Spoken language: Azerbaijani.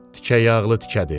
Tikə yağlı tikədir.